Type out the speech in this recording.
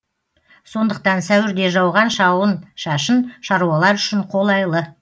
сондықтан сәуірде жауған жауын шашын шаруалар үшін қолайлы